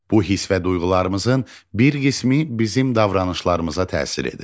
Bu hiss və duyğularımızın bir qismi bizim davranışlarımıza təsir edir.